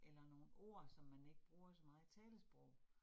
Eller nogle ord, som man ikke bruger så meget i talesprog